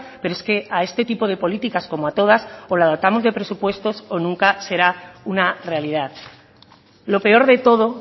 pero es que a este tipo de políticas como a todas o la dotamos de presupuestos o nunca será una realidad lo peor de todo